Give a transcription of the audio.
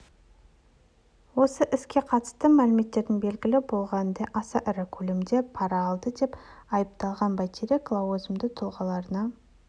осы іске қатысты мәліметтерден белгілі болғанындай аса ірі көлемде пара алды деп айыпталған байтерек лауазымды тұлғаларына